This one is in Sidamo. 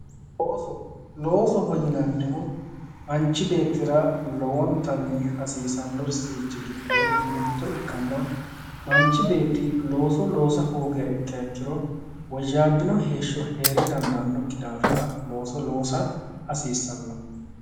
Looso, loosoho yinannihu manchi beettira lowontanni hasiissannosirichi giddo mitto ikkanna, manchu beetti looso loosa hoogiha ikkiro woyyaabbino heeshsho hee'ra dandaannokki daafira looso loosa hasiissanno.